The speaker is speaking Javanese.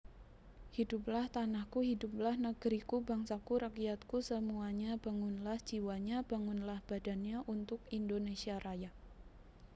Hiduplah tanahku Hiduplah neg riku Bangsaku Rakyatku semuanya Bangunlah jiwanya Bangunlah badannya Untuk Indonésia Raya